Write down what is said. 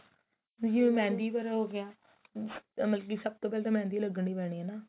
ਇਹੀ ਉਹ mehendi ਹੋ ਗਿਆ ਮਤਲਬ ਕੀ ਸਭ ਤੋਂ ਪਹਿਲਾਂ ਤਾਂ mehendi ਲੱਗਣੀ ਪੈਣੀ ਹੈ ਨਾ